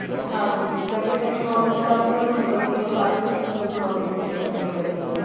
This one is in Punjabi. ਹਾਂਜੀ ਜਿੱਦਾਂ ਕੇ technology ਦਾ ਅੱਜਕਲ ਤੁਹਾਨੂੰ ਪਤਾ ਹੀ ਆ ਹਰ ਇੱਕ ਚੀਜ਼ technology ਤੇ ਹੀ depend ਕਰਦੀ ਆ ਨਾ